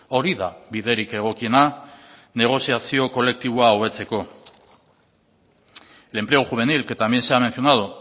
hori da biderik egokiena negoziazio kolektiboa hobetzeko el empleo juvenil que también se ha mencionado